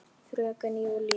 Fröken Júlíu.